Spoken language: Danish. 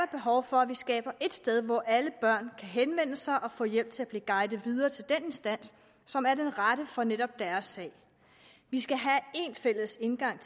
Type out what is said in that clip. behov for at vi skaber et sted hvor alle børn henvende sig og få hjælp til at blive guidet videre til den instans som er den rette for netop deres sag vi skal have en fælles indgang